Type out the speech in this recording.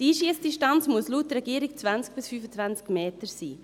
Die Einschussdistanz muss laut Regierung 20 bis 25 Meter betragen.